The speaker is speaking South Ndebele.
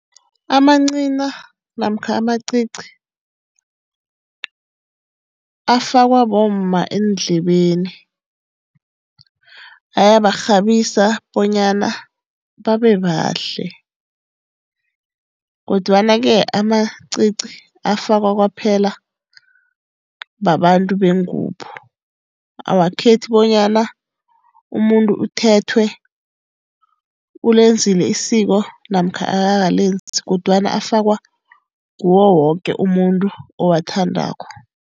Amancina namkha amacici afakwa bomma eendlebeni. Ayabarhabisa bonyana babebahle. Kodwana-ke amacici afakwa kwaphela babantu bengubo. Awakhethi bonyana umuntu uthethwe, ulenzile isiko namkha akakalenzi kodwana afakwa ngiwo woke umuntu owathandako.